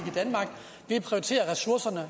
det er prioriterer ressourcerne